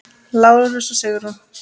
Lárus og Sigrún.